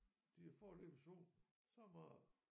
De er foreløbig sunket så meget